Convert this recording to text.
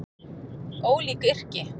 Ólík yrki